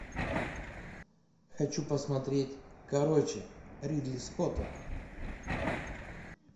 хочу посмотреть короче ридли скотта